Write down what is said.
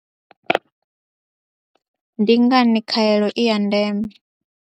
Ndi ngani khaelo i ya ndeme?